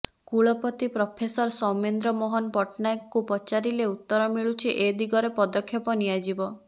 କୁଳପତି ପ୍ରଫେସର ସୌମେନ୍ଦ୍ର ମୋହନ ପଟ୍ଟନାୟକଙ୍କୁ ପଚାରିଲେ ଉତ୍ତର ମିଳୁଛି ଏ ଦିଗରେ ପଦକ୍ଷେପ ନିଆଯିବ